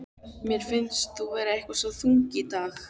Mér finnst þú eitthvað svo þung í dag.